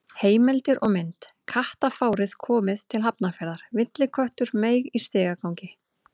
Heimildir og mynd: Kattafárið komið til Hafnarfjarðar: Villiköttur meig í stigagangi.